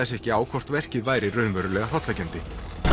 sig ekki á hvort verkið væri raunverulega hrollvekjandi